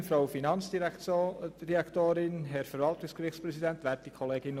Ich brauche das nicht zu wiederholen.